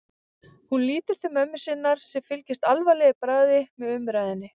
Hún lítur til mömmu sinnar sem fylgist alvarleg í bragði með umræðunni.